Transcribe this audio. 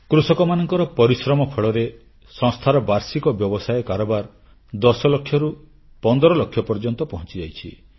କୃଷକମାନଙ୍କ ପରିଶ୍ରମ ଫଳରେ ସଂସ୍ଥାର ବାର୍ଷିକ ବ୍ୟବସାୟ କାରବାର 10 ଲକ୍ଷରୁ 15 ଲକ୍ଷ ପର୍ଯ୍ୟନ୍ତ ପହଂଚିଯାଇଛି